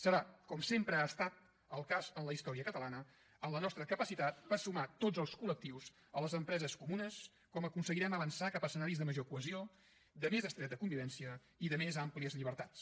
serà com sempre ha estat el cas en la història catalana en la nostra capacitat per sumar tots els col·lectius a les empreses comunes com aconseguirem avançar cap a escenaris de major cohesió de més estreta convivència i de més àmplies llibertats